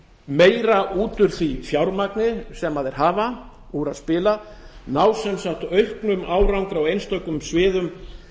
út úr því fjármagni sem þeir hafa úr að spila ná sem sagt auknum árangri á einstökum sviðum